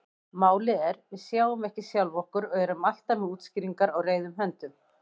Málið er: Við sjáum ekki sjálf okkur og erum alltaf með útskýringar á reiðum höndum.